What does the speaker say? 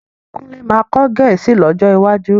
Kúnlé máa kọ́ Gẹ̀ẹ́sì lọ́jọ́ iwájú